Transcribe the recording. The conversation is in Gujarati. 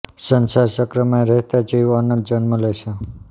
સંસાર ચક્રમાં રહેતાં જીવ અનંત જન્મ લે છે